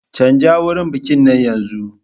Canja wurin bikin yanzu!